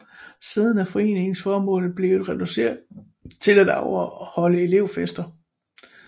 Siden er foreningens formål blevet reduceret til at afholde elevfester